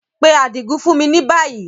Pe Adigun fun mi ni bayi!